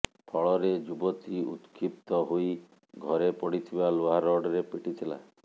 ଫଳରେ ଯୁବତୀ ଉତକ୍ଷିପ୍ତ ହୋଇ ଘରେ ପଡ଼ିଥିବା ଲୁହା ରଡ଼୍ ରେ ପିଟିଥିଲା